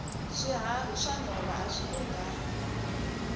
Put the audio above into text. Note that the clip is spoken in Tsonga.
swiharhi swa nhova awi lunghangi